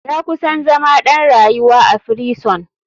Ya kusan zama ɗan rayuwa a firison.